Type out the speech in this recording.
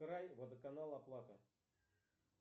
край водоканал оплата